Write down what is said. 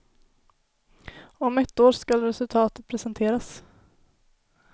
Om ett år skall resultatet presenteras.